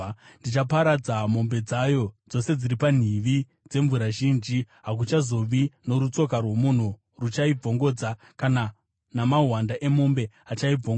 Ndichaparadza mombe dzayo dzose dziri panhivi dzemvura zhinji, hakuchazova norutsoka rwomunhu ruchaibvongodza, kana namahwanda emombe achaibvongodza.